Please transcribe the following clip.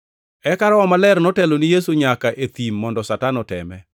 Eka Roho Maler notelo ne Yesu nyaka e thim mondo Satan oteme.